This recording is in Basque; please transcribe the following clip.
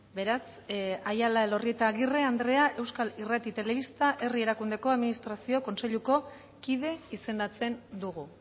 beraz aiala elorrieta agirre andrea euskal irrati telebista herri erakundeko administrazio kontseiluko kide izendatzen dugu